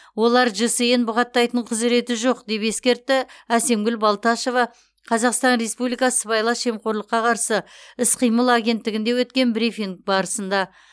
оларда жсн бұғаттайтын құзыреті жоқ деп ескертті әсемгүл балташева қазақстан республикасы сыбайлас жемқорлыққа қарсы іс қимыл агенттігінде өткен брифинг барысында